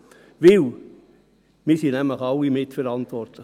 Denn wir sind nämlich alle mitverantwortlich.